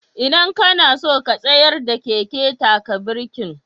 Idan ka na so ka tsayar da keken, taka birkin.